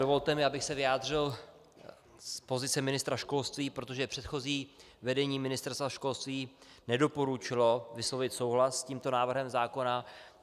Dovolte mi, abych se vyjádřil z pozice ministra školství, protože předchozí vedení Ministerstva školství nedoporučilo vyslovit souhlas s tímto návrhem zákona.